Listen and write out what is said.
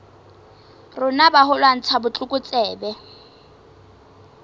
rona ba ho lwantsha botlokotsebe